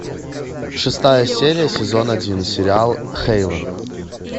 шестая серия сезон один сериал хейвен